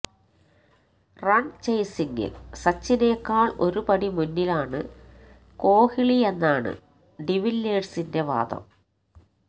run ചേസിങ്ങിൽ സച്ചിനേക്കാൾ ഒരുപടി മുന്നിലാണ് കോഹ്ലിയെന്നാണ് ഡിവില്ലിയേഴ്സിന്റെ വാദം